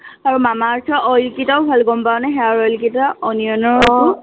আৰু মামা আৰ্থৰ oil কেইটাও ভাল গম পাৱনে? hair oil কেইটা onion ৰ সেইটো